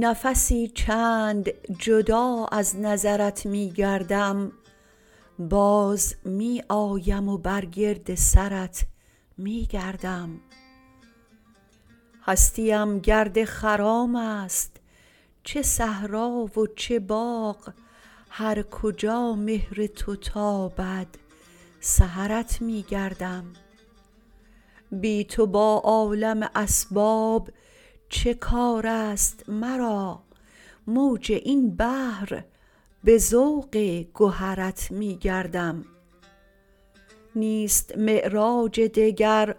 نفسی چند جدا از نظرت می گردم باز می آیم و برگرد سرت می گردم هستی ام گرد خرام است چه صحرا و چه باغ هرکجا مهر تو تابد سحرت می گردم بی تو با عالم اسباب چه کار است مرا موج این بحر به ذوق گهرت می گردم نیست معراج دگر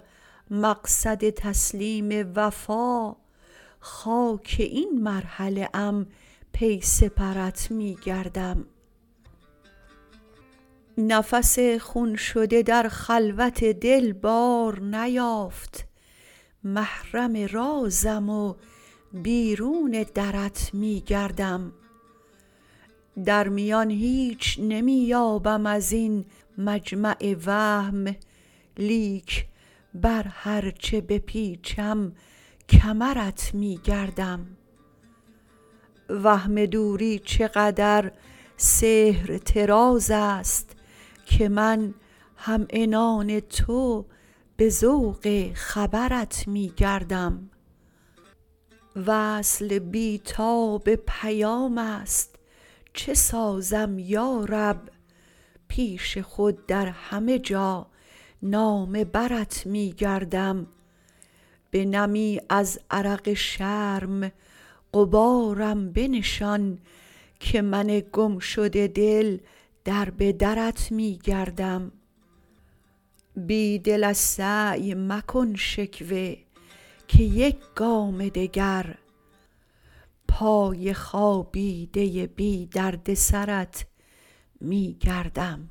مقصد تسلیم وفا خاک این مرحله ام پی سپرت می گردم نفس خون شده در خلوت دل بار نیافت محرم رازم و بیرون درت می گردم در میان هیچ نمی یابم ازین مجمع وهم لیک بر هر چه بپیچم کمرت می گردم وهم دوری چقدر سحر طراز است که من همعنان تو به ذوق خبرت می گردم وصل بیتاب پیام است چه سازم یا رب پیش خود درهمه جا نامه برت می گردم به نمی از عرق شرم غبارم بنشان که من گم شده دل دربه درت می گردم بیدل ازسعی مکن شکوه که یک گام دگر پای خوابیده بی درد سرت می گردم